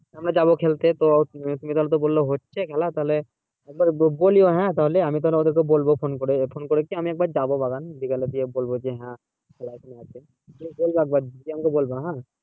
আমরা যাবো খেলতে তো তুমি তাহলে বললা হচ্ছে খেলা তাহলে একবার দেখবো দিয়ে হ্যাঁ হ্যাঁ তাহলে আমি ওদেরকে বলবো phone করে phone করে কি আমি একবার যাবো বাগান বিকালে দিয়ে বলবো যে হ্যাঁ খেলা এক জায়গায় আছে তুমি একবার বলব হ্যাঁ দিয়ে আমাকে বলবা